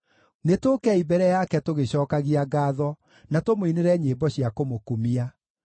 Nĩtũũkei mbere yake tũgĩcookagia ngaatho, na tũmũinĩre nyĩmbo cia kũmũkumia.